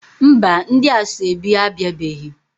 Mba, ndi asoebi abiabeghi